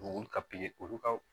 U ka olu ka